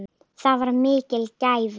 Það var mikil gæfa.